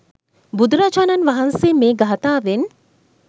බුදුරජාණන් වහන්සේ මේ ගාථාවෙන්